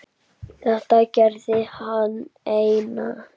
Þetta gerði hann einn.